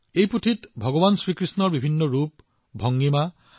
ইয়াত ভগৱান কৃষ্ণৰ বহুতো সুন্দৰ ছবি আছিল